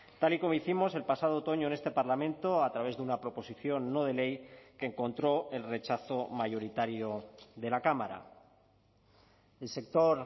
tal y como hicimos el pasado otoño en este parlamento a través de una proposición no de ley que encontró el rechazo mayoritario de la cámara el sector